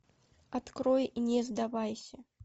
открой не сдавайся